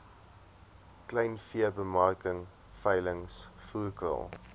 kleinveebemarking veilings voerkraal